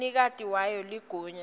umnikati wayo ligunya